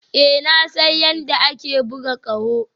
Ee na san yadda ake buga ƙaho